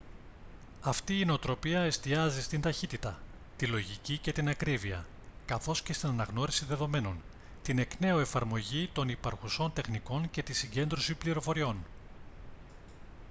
αυτή η νοοτροπία εστιάζει στην ταχύτητα τη λογική και την ακρίβεια καθώς και στην αναγνώριση δεδομένων την εκ νέου εφαρμογή των υπαρχουσών τεχνικών και τη συγκέντρωση πληροφοριών